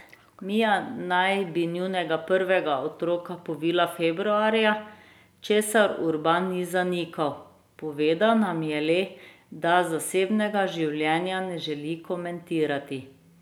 Mija naj bi njunega prvega otroka povila februarja, česar Urban ni zanikal, povedal nam je le, da zasebnega življenja ne želi komentirati.